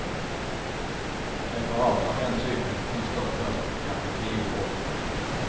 Preparat av den typen finns dock först om kanske tio år.